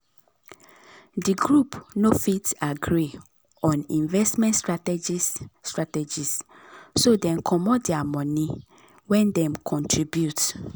d group no fit agree on investment strategies strategies so dem comot dir money wen dem contribute.